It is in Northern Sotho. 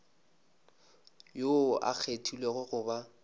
yoo a kgethilwego go ba